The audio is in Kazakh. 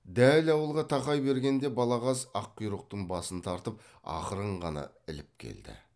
дәл ауылға тақай бергенде балағаз аққұйрықтың басын тартып ақырын ғана іліп келді